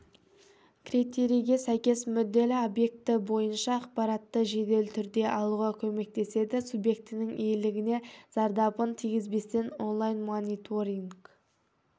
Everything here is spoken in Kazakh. критерийге сәйкес мүдделі объекті бойынша ақпаратты жедел түрде алуға көмектеседі субъектінің иелігіне зардабын тигізбестен онлайн-мониторинг